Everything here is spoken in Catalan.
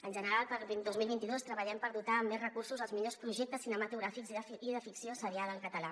en general per al dos mil vint dos treballem per dotar amb més recursos els millors projec·tes cinematogràfics i de ficció seriada en català